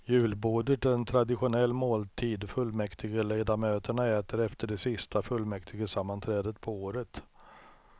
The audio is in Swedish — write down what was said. Julbordet är en traditionell måltid fullmäktigeledamöterna äter efter det sista fullmäktigesammanträdet på året.